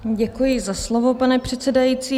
Děkuji za slovo, pane předsedající.